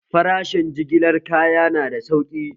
Farashen jigilar kaya na da sauƙi